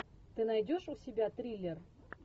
ты найдешь у себя триллер